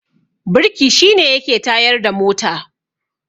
birki shi ne yake tsayarda mota